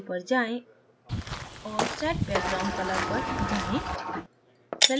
view पर जाएँ और set background color पर जाएँ